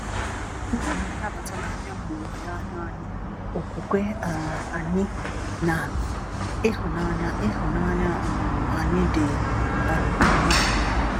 Udo na nnabata na-abịa mgbe olileanya anyị, okwukwe um anyị, na ịhụnanya ịhụnanya um anyị dị um na ya.